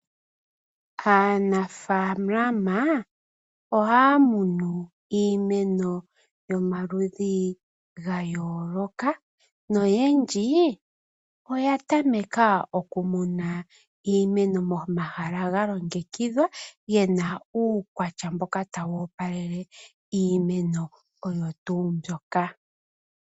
Aanafalama ohaya kunu iimeno yomaludhi ga yooloka noyendje oya tameka okukuna iimeno momahala ga longekidhwa yi na uukwatya mboka tawu opalele iimeno oyo tuu mbyoka.